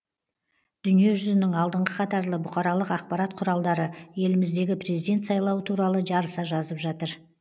дүниежүзінің алдыңғы қатарлы бұқаралық ақпарат құралдары еліміздегі президент сайлауы туралы жарыса жазып жатыр